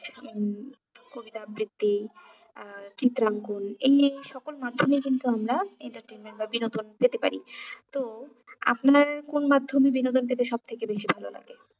কবিতা আবৃত্তি আহ চিত্র অঙ্কন এই সকল মাধ্যমেই কিন্তু আমরা entertainment বা বিনোদন পেতে পারি তো আপনার কোন মাধ্যমে বিনোদন পেতে সব থেকে বেশি ভালো লাগে?